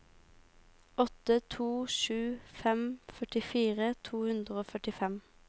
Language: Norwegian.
åtte to sju fem førtifire to hundre og førtifem